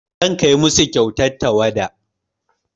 Zan kai musu kyautar tawada.